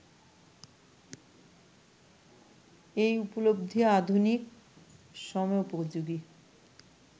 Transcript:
এই উপলব্ধি আধুনিক সময়োপযোগী